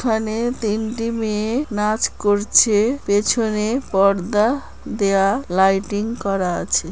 এখানে তিনটি মেয়ে নাচ করছে। পেছনে পর্দা দেয়া লাইটিং করা আছে।